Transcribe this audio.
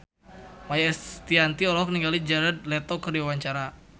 Maia Estianty olohok ningali Jared Leto keur diwawancara